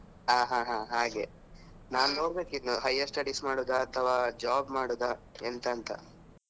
ಹಾ ಹಾ ಹಾಗೆ ನಾನ್ ನೋಡ್ಬೇಕ್ ಇನ್ನು higher studies ಮಾಡುದಾ ಅಥವಾ job ಮಾಡುದಾ ಎಂತ ಅಂತ.